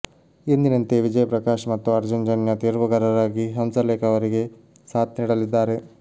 ಎಂದಿನಂತೆ ವಿಜಯ್ ಪ್ರಕಾಶ್ ಮತ್ತು ಅರ್ಜುನ್ಯ ಜನ್ಯ ತೀರ್ಪುಗಾರರಾಗಿ ಹಂಸಲೇಖ ಅವರಿಗೆ ಸಾಥ್ ನೀಡಲಿದ್ದಾರೆ